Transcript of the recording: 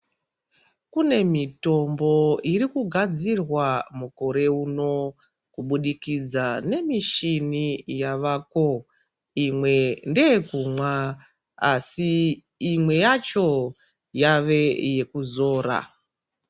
Kune mitombo irikugadzirwa mukore uno kubudikidza nemishini yavako. Imwe ndeyekunwa asi imwe yacho yave yekuzora.